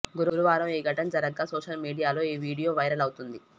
గురువారం ఈ ఘటన జరగ్గా సోషల్ మీడియాలో ఈ వీడియో వైరల్ అవుతోంది